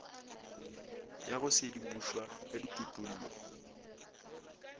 ya go sedimošwa ka dikutullo